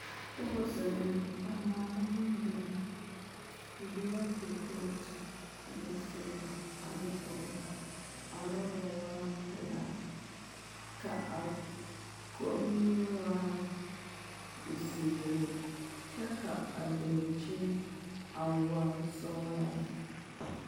Pɔge zeŋe la a maala bondirii o biŋee kɔrepootɔ ne siliba ane ɔreba arɔba waa pelaa ka kommie waa zeere kyɛ ka a dankyini a waa sɔglaa lɛ'